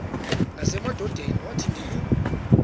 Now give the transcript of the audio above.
nasemadodeni wathi ndilu